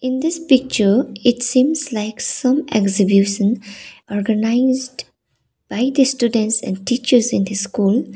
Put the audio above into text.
in this picture it seems like some exhibition organised by the students and teachers in the school.